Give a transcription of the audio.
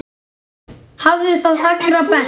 Hafðu það sem allra best.